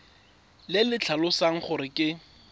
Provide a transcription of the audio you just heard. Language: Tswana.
le le tlhalosang gore ke